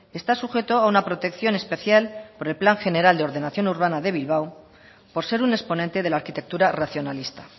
está sujeto a una protección especial por el plan general de ordenación urbana de bilbao por ser un exponente de la arquitectura racionalista